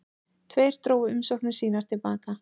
Tveir drógu umsóknir sínar til baka